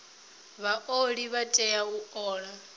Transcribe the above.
vhaoli vha tea u ola